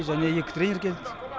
және екі тренер келдік